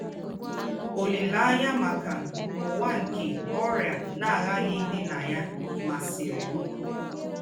“ Ólíléányà mákà úwà nke ọ́rịà ná-àghàghí ídì na ya másìrì m. ”